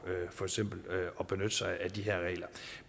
for eksempel at benytte sig af de her regler